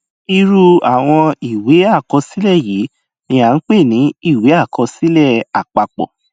irú àwọn ìwé àkọsílẹ yìí ni a pè ní ìwé àkọsílẹ àpapọ